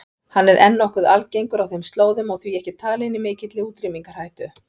Hann er enn nokkuð algengur á þeim slóðum og því ekki talinn í mikilli útrýmingarhættu.